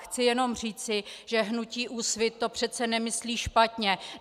Chci jenom říci, že hnutí Úsvit to přece nemyslí špatně.